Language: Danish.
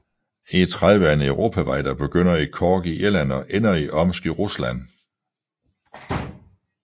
E30 er en europavej der begynder i Cork i Irland og ender i Omsk i Rusland